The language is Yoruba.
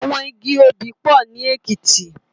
Awòn igi óbì pò ni Ekiti